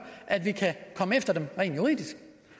at vi kan komme efter dem rent juridisk